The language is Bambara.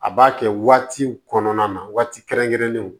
A b'a kɛ waati kɔnɔna na waati kɛrɛnkɛrɛnnenw